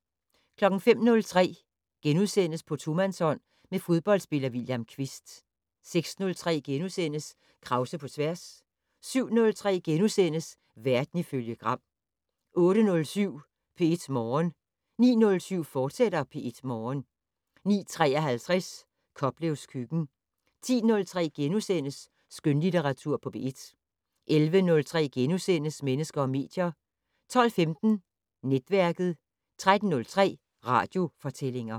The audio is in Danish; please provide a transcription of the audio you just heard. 05:03: På tomandshånd med fodboldspiller William Kvist * 06:03: Krause på tværs * 07:03: Verden ifølge Gram * 08:07: P1 Morgen 09:07: P1 Morgen, fortsat 09:53: Koplevs køkken 10:03: Skønlitteratur på P1 * 11:03: Mennesker og medier * 12:15: Netværket 13:03: Radiofortællinger